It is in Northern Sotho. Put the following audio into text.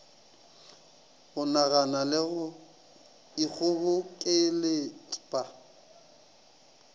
go nagana le go ikgobokeletpa